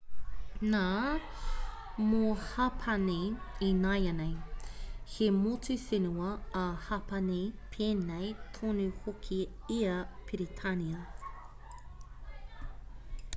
nā mō hapani ināianei he motu whenua a hapani pēnei tonu hoki i a peretānia